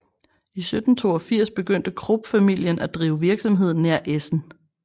I 1782 begyndte Krupp familien af drive virksomhed nær Essen